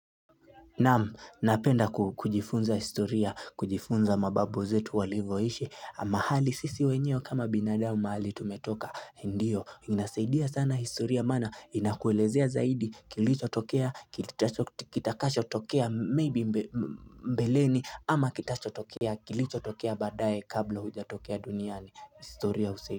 Naam, napenda kujifunza historia, kujifunza mababu zetu walivoishi, mahali sisi wenyewe kama binadamu mahali tumetoka, ndiyo, inasaidia sana historia maana, inakuelezea zaidi, kilichotokea, kitakachotokea, maybe mbeleni, ama kitachotokea, kilichotokea baadaye kabla hujatokea duniani, historia husaidia.